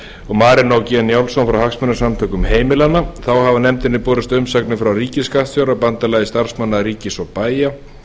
og marinó g njálsson frá hagsmunasamtökum heimilanna þá hafa nefndinni borist umsagnir frá ríkisskattstjóra bandalagi starfsmanna ríkis og bæja